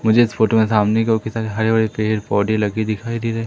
मुझे इस फोटो में सामने की हरे भरे पेड़ पौधे लगे दिखाई दे रहे--